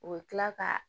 U bɛ tila ka